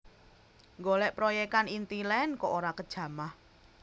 Nggolek proyekan Intiland kok ora kejamah